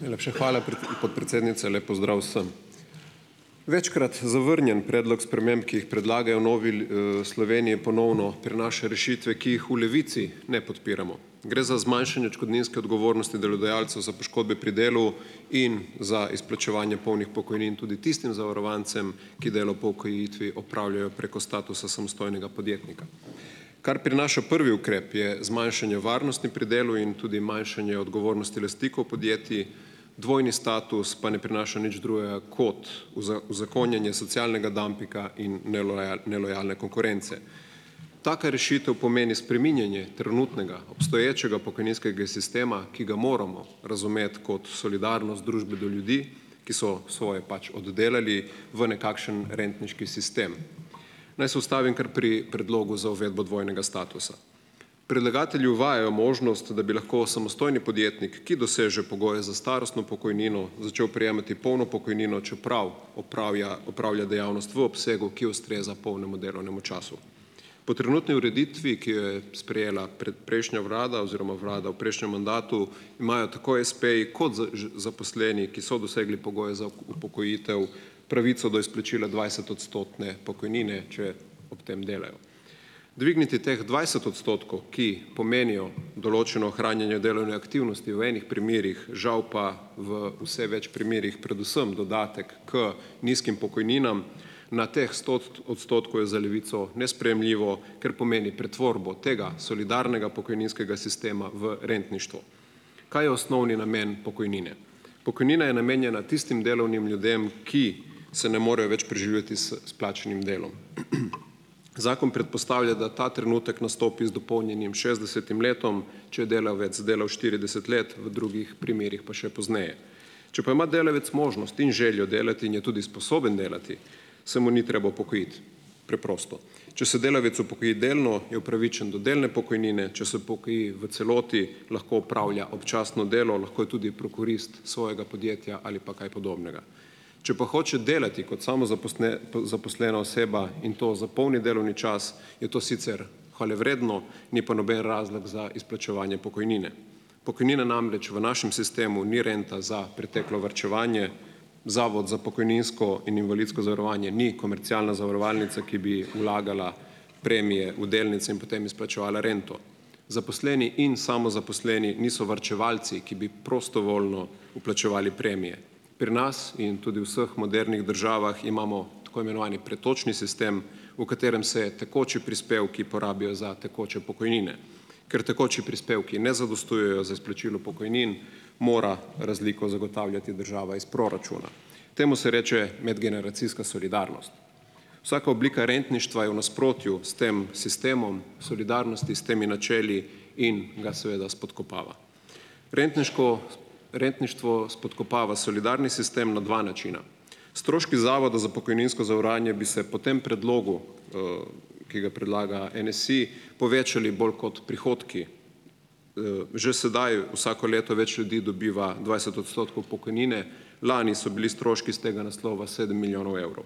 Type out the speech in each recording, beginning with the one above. Najlepša hvala, podpredsednica, lep pozdrav vsem. Večkrat zavrnjen predlog sprememb, ki jih predlagajo v Novi Sloveniji, ponovno prinaša rešitve, ki jih v Levici ne podpiramo. Gre za zmanjšanje odškodninske odgovornosti delodajalcev za poškodbe pri delu in za izplačevanje polnih pokojnin tudi tistim zavarovancem, ki delo po upokojitvi opravljajo preko statusa samostojnega podjetnika. Kar prinaša prvi ukrep, je zmanjšanje varnosti pri delu in tudi manjšanje odgovornosti lastnikov podjetij, dvojni status pa ne prinaša nič drugega kot uza, uzakonjenje socialnega dampinga in nelojalne konkurence. Taka rešitev pomeni spreminjanje trenutnega obstoječega pokojninskega sistema, ki ga moramo razumeti kot solidarnost družbe do ljudi, ki so svoje pač oddelali, v nekakšen rentniški sistem. Naj se ustavim kar pri predlogu za uvedbo dvojnega statusa. Predlagatelji uvajajo možnost, da bi lahko samostojni podjetnik, ki doseže pogoje za starostno pokojnino, začel prejemati polno pokojnino, čeprav opravlja, opravlja dejavnost v obsegu, ki ustreza polnemu delovnemu času. Po trenutni ureditvi, ki jo je sprejela predprejšnja vlada oziroma vlada v prejšnjem mandatu, imajo tako espeji kot z ž zaposleni, ki so dosegli pogoje za upokojitev, pravico do izplačila dvajsetodstotne pokojnine, če ob tem delajo. Dvigniti teh dvajset odstotkov, ki pomenijo določeno ohranjanje delovne aktivnosti v enih primerih, žal pa v vse več primerih predvsem dodatek k nizkim pokojninam na teh sto odstotkov, je za Levico nesprejemljivo, ker pomeni pretvorbo tega solidarnega pokojninskega sistema v rentništvo. Kaj je osnovni namen pokojnine? Pokojnina je namenjena tistim delovnim ljudem, ki se ne morejo več preživljati s s plačnim delom. Zakon predpostavlja, da ta trenutek nastopi z dopolnjenim šestdesetim letom, če je delavec delal štirideset let, v drugih primerih pa še pozneje. Če pa ima delavec možnost in željo delati in je tudi sposoben delati, se mu ni treba upokojiti. Preprosto. Če se delavec upokoji delno, je upravičen do delne pokojnine, če se upokoji v celoti, lahko opravlja občasno delo, lahko je tudi prokurist svojega podjetja ali pa kaj podobnega. Če pa hoče delati kot zaposlena oseba, in to za polni delovni čas, je to sicer hvalevredno, ni pa noben razlog za izplačevanje pokojnine. Pokojnina namreč v našem sistemu ni renta za preteklo varčevanje, Zavod za pokojninsko in invalidsko zavarovanje ni komercialna zavarovalnica, ki bi vlagala premije v delnice in potem izplačevala rento. Zaposleni in samozaposleni niso varčevalci, ki bi prostovoljno vplačevali premije. Pri nas in tudi v vseh modernih državah imamo tako imenovani pretočni sistem, v katerem se tekoči prispevki porabijo za tekoče pokojnine. Ker tekoči prispevki ne zadostujejo za izplačilo pokojnin, mora razliko zagotavljati država iz proračuna. Temu se reče medgeneracijska solidarnost. Vsaka oblika rentništva je v nasprotju s tem sistemom solidarnosti, s temi načeli in ga seveda spodkopava. Rentniško. Rentništvo spodkopava solidarni sistem na dva načina. Stroški Zavoda za pokojninsko zavarovanje bi se po tem predlogu, ki ga predlaga NSi, povečali bolj kot prihodki. Že sedaj vsako leto več ljudi dobiva dvajset odstotkov pokojnine. Lani so bili stroški s tega naslova sedem milijonov evrov.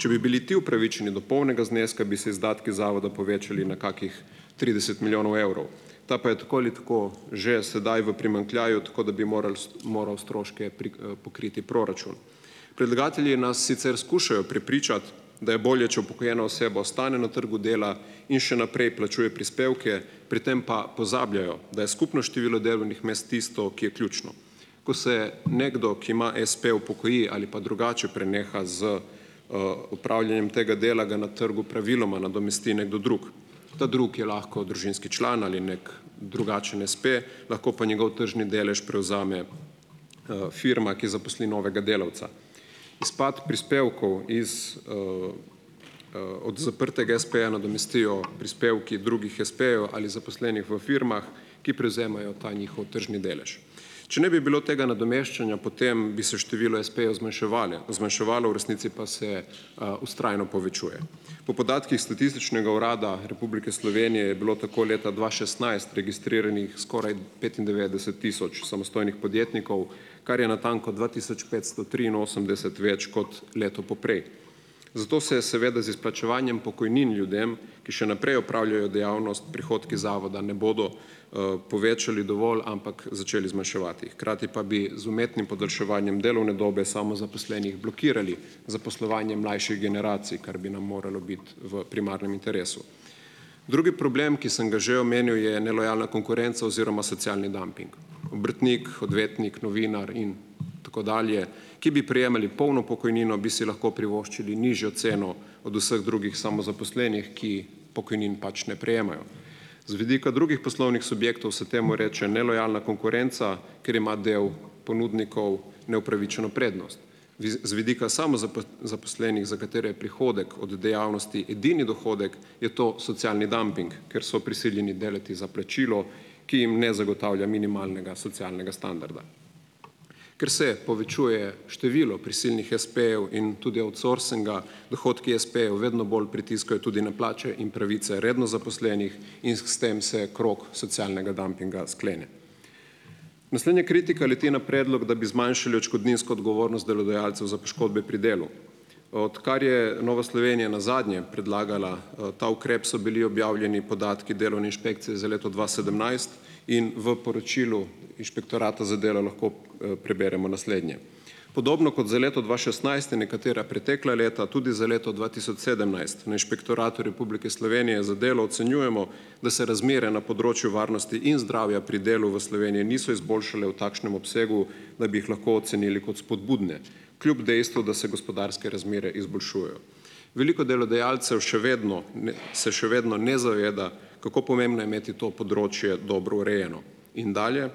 Če bi bili ti upravičeni do polnega zneska, bi se izdatki zavoda povečali na kakih trideset milijonov evrov, ta pa je tako ali tako že sedaj v primanjkljaju, tako da bi moral st, moral stroške pri pokriti proračun. Predlagatelji nas sicer skušajo prepričati, da je bolje, če upokojena oseba ostane na trgu dela in še naprej plačuje prispevke, pri tem pa pozabljajo, da je skupno število delovnih mest tisto, ki je ključno. Ko se nekdo, ki ima espe, upokoji ali pa drugače preneha z opravljanjem tega dela, ga na trgu praviloma nadomesti nekdo drug. Ta drugi je lahko družinski član ali nek drugačen espe, lahko pa njegov tržni delež prevzame firma, ki zaposli novega delavca. Izpad prispevkov iz od zaprtega espeja nadomestijo prispevki drugih espejev ali zaposlenih v firmah, ki prevzemajo ta njihov tržni delež. Če ne bi bilo tega nadomeščanja, potem bi se število espejev zmanjševale, zmanjševalo, v resnici pa se vztrajno povečuje. Po podatkih Statističnega urada Republike Slovenije je bilo tako leta dva šestnajst registriranih skoraj petindevetdeset tisoč samostojnih podjetnikov, kar je natanko dva tisoč petsto triinosemdeset več kot leto poprej. Zato se seveda z izplačevanjem pokojnin ljudem, ki še naprej opravljajo dejavnost, prihodki zavoda ne bodo povečali dovolj, ampak začeli zmanjševati, hkrati pa bi z umetnim podaljševanjem delovne dobe samozaposlenih blokirali zaposlovanje mlajših generacij, kar bi nam moralo biti v primarnem interesu. Drugi problem, ki sem ga že omenil, je nelojalna konkurenca oziroma socialni damping. Obrtnik, odvetnik, novinar in tako dalje, ki bi prejemali polno pokojnino, bi si lahko privoščili nižjo ceno od vseh drugih samozaposlenih, ki pokojnin pač ne prejemajo. Z vidika drugih poslovnih subjektov se temu reče nelojalna konkurenca, ker ima delo ponudnikov neupravičeno prednost. Viz. Z vidika zaposlenih, za katere je prihodek od dejavnosti ednini dohodek, je to socialni damping, ker so prisiljeni delati za plačilo, ki jim ne zagotavlja minimalnega socialnega standarda. Ker se povečuje število prisilnih espejev in tudi outsourcinga, dohodki espejev vedno bolj pritiskajo tudi na plače in pravice redno zaposlenih in s tem se krog socialnega dampinga sklene. Naslednja kritika leti na predlog, da bi zmanjšali odškodninsko odgovornost delodajalcev za poškodbe pri delu. Odkar je Nova Slovenija nazadnje predlagala ta ukrep, so bili objavljeni podatki delovne inšpekcije za leto dva sedemnajst in v poročilu inšpektorata za delo lahko preberemo naslednje. "Podobno kot za leto dva šestnajst in nekatera pretekla leta tudi za leto dva tisoč sedemnajst na Inšpektoratu Republike Slovenije za delo ocenjujemo, da se razmere na področju varnosti in zdravja pri delu v Sloveniji niso izboljšale v takšnem obsegu, da bi jih lahko ocenili kot spodbudne, kljub dejstvu, da se gospodarske razmere izboljšujejo. Veliko delodajalcev še vedno ne, se še vedno ne zaveda, kako pomembno je imeti to področje dobro urejeno." In dalje.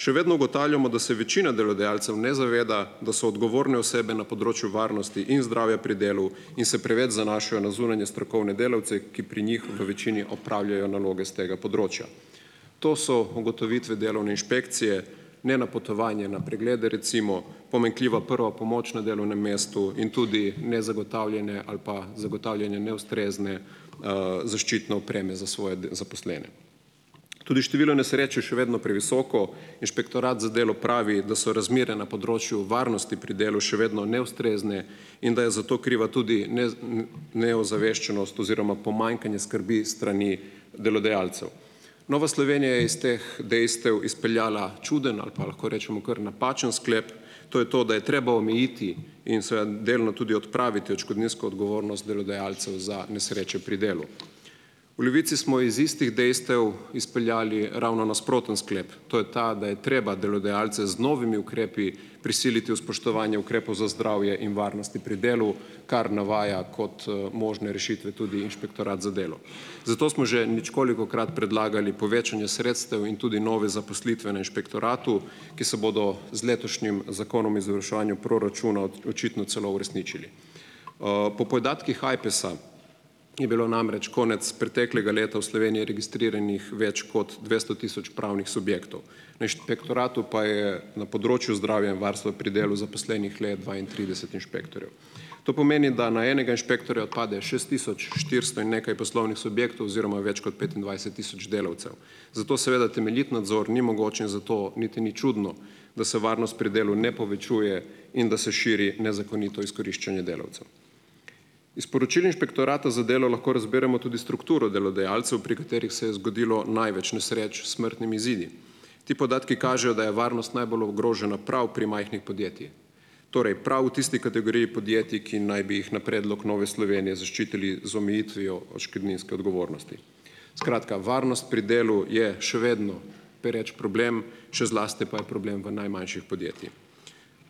"Še vedno ugotavljamo, da se večina delodajalcev ne zaveda, da so odgovorne osebe na področju varnosti in zdravja pri delu, in se preveč zanašajo na zunanje strokovne delavce, ki pri njih v večini opravljajo naloge s tega področja." To so ugotovitve delovne inšpekcije, nenapotovanje na preglede recimo, pomanjkljiva prva pomoč na delovnem mestu in tudi nezagotavljanje ali pa zagotavljanje neustrezne zaščitne opreme za svoje da, zaposlene. Tudi število nesreč je še vedno previsoko. Inšpektorat za delo pravi, da so razmere na področju varnosti pri delu še vedno neustrezne, in da je zato kriva tudi ne z neozaveščenost oziroma pomanjkanje skrbi s strani delodajalcev. Nova Slovenija je iz teh dejstev izpeljala čudno ali pa, lahko rečemo, kar napačen sklep. To je to, da je treba omejiti in seveda delno tudi odpraviti odškodninsko odgovornost delodajalcev za nesreče pri delu. V Levici smo iz istih dejstev izpeljali ravno nasproten sklep, to je ta, da je treba delodajalce z novimi ukrepi prisiliti v spoštovanje ukrepov za zdravje in varnost pri delu, kar navaja kot možne rešitve tudi inšpektorat za delo. Zato smo že ničkolikokrat predlagali povečanje sredstev in tudi nove zaposlitve na inšpektoratu, ki se bodo z letošnjim zakonom o izvrševanju proračuna očitno celo uresničili. Po podatkih Ajpesa je bilo namreč konec preteklega leta v Sloveniji registriranih več kot dvesto tisoč pravnih subjektov. Na inšpektoratu pa je na področju zdravja in varstva pri delu zaposlenih le dvaintrideset inšpektorjev. To pomeni, da na enega inšpektorja pade šest tisoč štiristo in nekaj poslovnih subjektov oziroma več kot petindvajset tisoč delavcev. Zato seveda temeljit nadzor ni mogoč in zato niti ni čudno, da se varnost pri delu ne povečuje in da se širi nezakonito izkoriščanje delavcev. Iz poročil inšpektorata za delo lahko razberemo tudi strukturo delodajalcev, pri katerih se je zgodilo največ nesreč s smrtnimi izidi. Ti podatki kažejo, da je varnost najbolj ogrožena prav pri majhnih podjetjih. Torej, prav v tisti kategoriji podjetij, ki naj bi jih na predlog Nove Slovenije zaščitili z omejitvijo odškodninske odgovornosti. Skratka, varnost pri delu je še vedno pereč problem, še zlasti pa je problem v najmanjših podjetjih.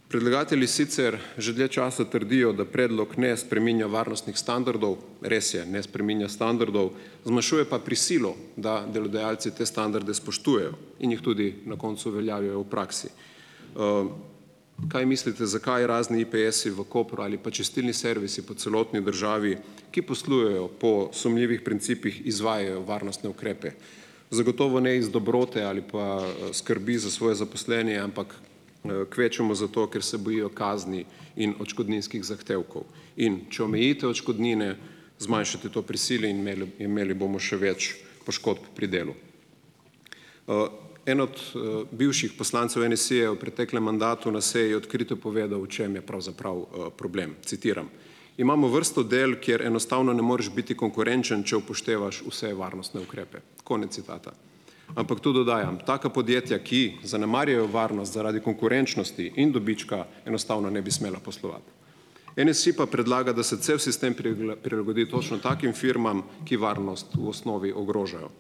Predlagatelji sicer že dlje časa trdijo, da predlog ne spreminja varnostnih standardov. Res je, ne spreminja standardov, zmanjšuje pa prisilo, da delodajalci te standarde spoštujejo in jih tudi na koncu uveljavljajo v praksi. Kaj mislite, zakaj razni IPS-i v Kopru ali pa čistilni servisi po celotni državi, ki poslujejo po sumljivih principih, izvajajo varnostne ukrepe. Zagotovo ne iz dobrote ali pa skrbi za svoje zaposlene, ampak kvečjemu zato, ker se bojijo kazni in odškodninskih zahtevkov. In če omejitev odškodnine zmanjšate, to prisili in imel imeli bomo še več poškodb pri delu. En od bivših poslancev NSi je v preteklem mandatu na seji odkrito povedal, v čem je pravzaprav problem. Citiram: "Imamo vrsto del, kjer enostavno ne moreš biti konkurenčen, če upoštevaš vse varnostne ukrepe." Konec citata. Ampak tu dodajam, taka podjetja, ki zanemarjajo varnost zaradi konkurenčnosti in dobička, enostavno ne bi smela poslovati. NSi pa predlagam, da se cel sistem prila prilagodi točno takim firmam, ki varnost v osnovi ogrožajo.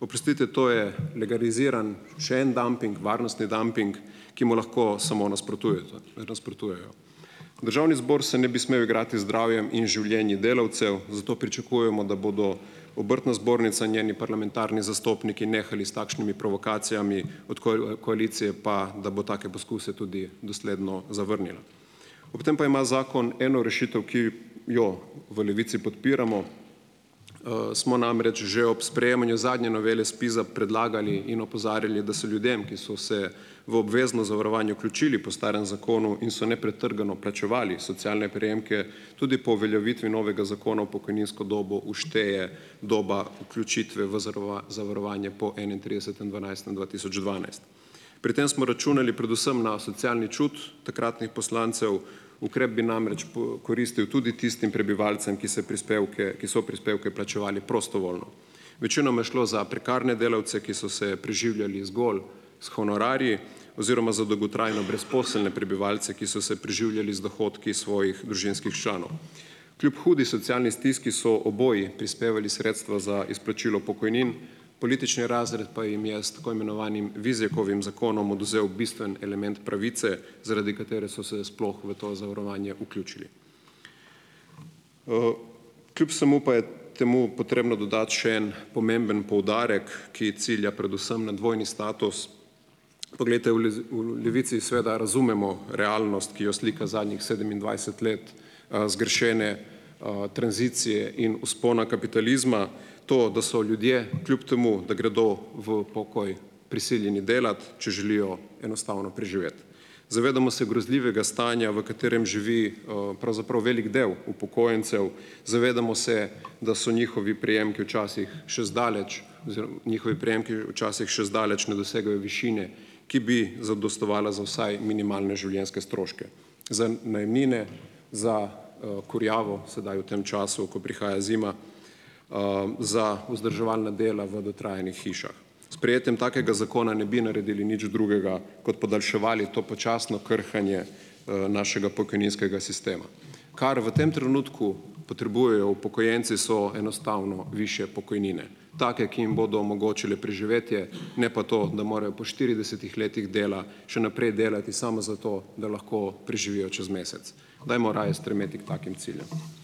Oprostite, to je legaliziran še en damping, varnostni damping, ki mu lahko samo nasprotujejo, nasprotujejo. Državni zbor se ne bi smel igrati z zdravjem in življenjem delavcev, zato pričakujemo, da bodo Obrtna zbornica, njeni parlamentarni zastopniki, nehali s takšnimi provokacijami, od koalicije pa, da bo take poskuse tudi dosledno zavrnila. Ob tem pa ima zakon eno rešitev, ki jo v Levici podpiramo. Smo namreč že ob sprejemanju zadnje novele SPIZ-a predlagali in opozarjali, da so ljudem, ki so se v obvezno zavarovanje vključili po starem zakonu in so nepretrgano plačevali socialne prejemke tudi po uveljavitvi novega zakona, v pokojninsko dobo všteje doba vključitve v zavarovanje po enaintridesetem dvanajstem dva tisoč dvanajst. Pri tem smo računali predvsem na socialni čut takratnih poslancev. Ukrep bi namreč po koristil tudi tistim prebivalcem, ki se prispevke, ki so prispevke plačevali prostovoljno. Večinoma je šlo za prekarne delavce, ki so se preživljali zgolj s honorarji oziroma za dolgotrajno brezposelne prebivalce, ki so se preživljali z dohodki iz svojih družinskih članov. Kljub hudi socialni stiski so oboji prispevali sredstva za izplačilo pokojnin, politični razred pa jim je s tako imenovanim Vizjakovim zakonom odvzel bistven element pravice, zaradi katere so se sploh v to zavarovanje vključili. Kljub vsemu pa je temu potrebno dodati še en pomemben poudarek, ki cilja predvsem na dvojni status. Poglejte v les, v Levici seveda razumemo realnost, ki jo slika zadnjih sedemindvajset let zgrešene tranzicije in vzpona kapitalizma. To, da so ljudje, kljub temu da gredo v pokoj, prisiljeni delati, če želijo enostavno preživeti. Zavedamo se grozljivega stanja, v katerem živi pravzaprav veliko delo upokojencev. Zavedamo se, da so njihovi prejemki včasih še zdaleč oziroma njihovi prejemki včasih še zdaleč ne dosegajo višine, ki bi zadostovala za vsaj minimalne življenjske stroške, za najemnine, za kurjavo, sedaj v tem času, ko prihaja zima, za vzdrževalna dela v dotrajanih hišah. Sprejetjem takega zakona ne bi naredili nič drugega kot podaljševali to počasno krhanje našega pokojninskega sistema. Kar v tem trenutku potrebujejo upokojenci, so enostavno višje pokojnine. Take, ki jim bodo omogočile preživetje, ne pa to, da morajo po štiridesetih letih dela še naprej delati samo zato, da lahko preživijo čez mesec. Dajmo raje stremeti k takim ciljem.